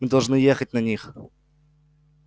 мы должны ехать на них